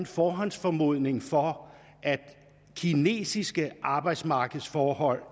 forhåndsformodning for at de kinesiske arbejdsmarkedsforhold